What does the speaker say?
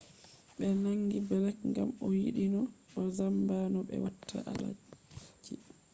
ɓe nangi blek ngam o yiɗino o zamba no ɓe watta adalci